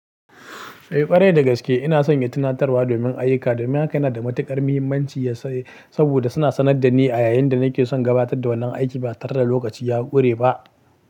Eh ƙwarai da gaske ina sanye tunatarwa domin ayyuka domin haka yana da matuƙar mahimmanci ya saboda suna sanar da ni a yayin da nake son gabatar da wannan aiki ba tare da lokaci ya ƙure ba.